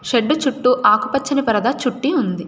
Shed చుట్టూ ఆకుపచ్చని పరదా చుట్టి ఉంది.